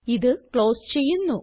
ഇത് ക്ലോസ് ചെയ്യുന്നു